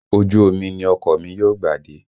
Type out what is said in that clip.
Ojú omi ni ọkọ̀ mi yóò gbà dé